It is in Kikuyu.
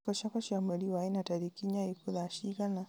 irĩko ciakwa cia mweri wa ĩna tarĩki inya ikuo thaa cigana